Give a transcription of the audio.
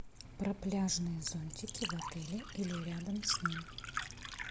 про пляжные зонтики в отеле или рядом с ним